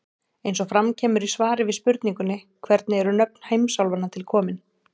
Eins og fram kemur í svari við spurningunni Hvernig eru nöfn heimsálfanna til komin?